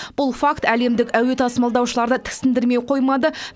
бұл факт әлемдік әуе тасымалдаушыларды тіксіндермей қоймады